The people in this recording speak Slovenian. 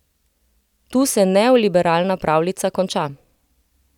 Tu se neoliberalna pravljica konča.